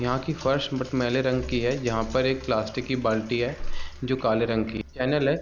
यहां की फर्श मटमैले रंग की है यहां पर एक प्लास्टिक की बाल्टी है जो काले रंग की केनल है।